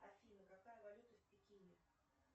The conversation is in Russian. афина какая валюта в пекине